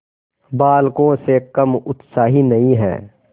बालकों से कम उत्साही नहीं है